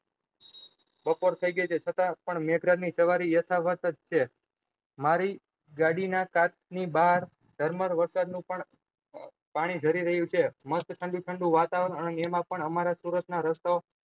બપોર થઇ ગયી છે સજા પણ મચ્ક્રોન ની સવારી યથા વાથ જ છે મારી ગાડીના કાચ ની ભાહર વરસાદ નું પણ પાણી રહ્યું છે મસ્ત ઠંડુ ઠંડુ વાતાવરણ અને એમાં પણ અમારે સુરત ના રસ્તો